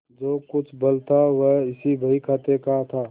जो कुछ बल था वह इसी बहीखाते का था